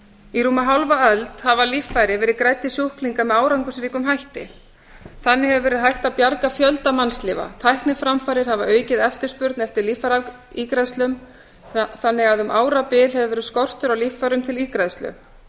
í rúma hálfa öld hafa líffæri verið grædd í sjúklinga með árangursríkum hætti þannig hefur verið hægt að bjarga fjölda mannslífa tækniframfarir hafa aukið eftirspurn eftir líffæraígræðslum þannig að um árabil hefur verið skortur á líffærum til ígræðslu